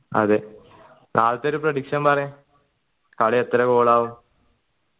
അതെ ഒരു prediction പറയു കളി എത്ര goal ആവും